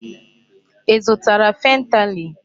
Ị zụtara fentanyl?